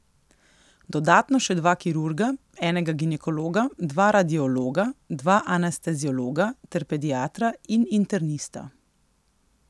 Dodatno še dva kirurga, enega ginekologa, dva radiologa, dva anesteziologa ter pediatra in internista.